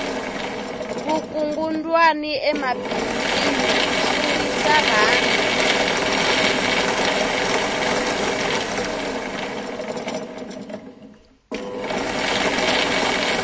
vukungundwani emabindzwini swi wisa rhandi